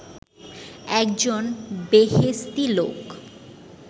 একজন বেহেশতি লোক